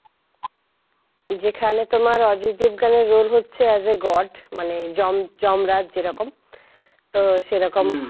যেখানে তোমার অজয় দেবগনের রোল হচ্ছে as a God মানে যম যমরাজ যেরকম তো সেরকম